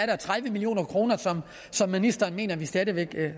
er tredive million kr som ministeren mener at vi stadig væk